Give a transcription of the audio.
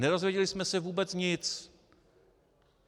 Nedozvěděli jsme se vůbec nic.